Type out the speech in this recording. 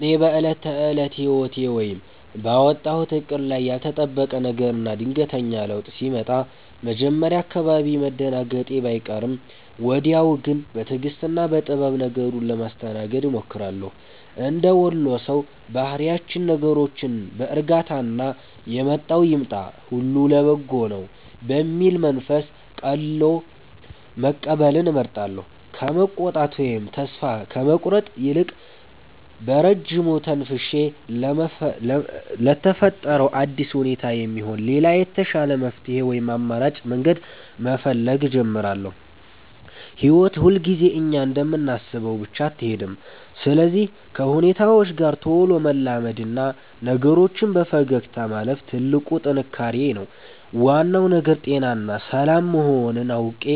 እኔ በዕለት ተዕለት ሕይወቴ ወይም ባወጣሁት ዕቅድ ላይ ያልተጠበቀ ነገርና ድንገተኛ ለውጥ ሲመጣ መጀመሪያ አካባቢ መደናገጤ ባይቀርም፣ ወዲያው ግን በትዕግሥትና በጥበብ ነገሩን ለማስተናገድ እሞክራለሁ። እንደ ወሎ ሰው ባህሪያችን ነገሮችን በዕርጋታና «የመጣው ይምጣ፣ ሁሉ ለበጎ ነው» በሚል መንፈስ ቀልሎ መቀበልን እመርጣለሁ። ከመቆጣት ወይም ተስፋ ከመቁረጥ ይልቅ፣ በረጅሙ ተንፍሼ ለተፈጠረው አዲስ ሁኔታ የሚሆን ሌላ የተሻለ መፍትሔ ወይም አማራጭ መንገድ መፈለግ እጀምራለሁ። ሕይወት ሁልጊዜ እኛ እንደምናስበው ብቻ አትሄድም፤ ስለዚህ ከሁኔታዎች ጋር ቶሎ መላመድና ነገሮችን በፈገግታ ማለፍ ትልቁ ጥንካሬዬ ነው። ዋናው ነገር ጤናና ሰላም መሆኑን አውቄ፣